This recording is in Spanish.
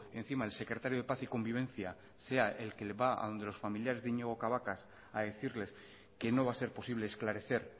encima el secretario de paz y convivencia sea el que va a donde los familiares de iñigo cabacas a decirles que no va a ser posible esclarecer